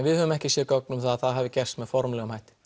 við höfum ekki séð gögn um það að það hafi gerst með formlegum hætti